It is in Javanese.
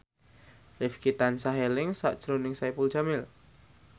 Rifqi tansah eling sakjroning Saipul Jamil